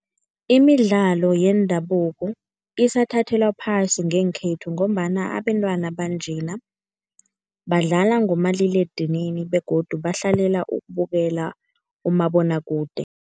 Imidlalo yendabuko isathathelwa phasi ngenkhethu ngombana abentwana banjena badlala ngomaliledinini begodu bahlalela ukubukela umabonwakude.